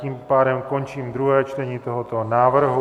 Tím pádem končím druhé čtení tohoto návrhu.